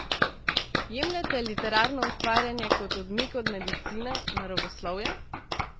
Jemljete literarno ustvarjanje kot odmik od medicine, naravoslovja?